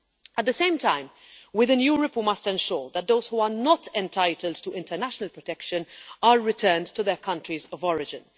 At the same time, within Europe we must ensure that those who are not entitled to international protection are returned to their countries of origin.